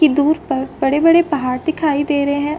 की दूर पर बड़े -बड़े पहाड़ दिखाई दे रहे है।